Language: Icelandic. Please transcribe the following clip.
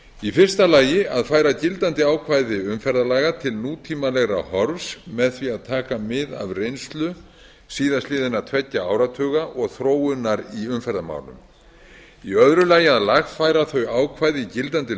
í fyrsta lagi að færa gildandi ákvæði til nútímalegra horfs með því að taka mið af reynslu síðastliðinna tveggja áratuga og þróun í umferðarmálum í öðru lagi að lagfæra þau ákvæði í gildandi